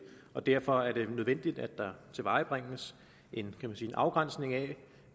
og derfor er det nødvendigt at der tilvejebringes en afgrænsning af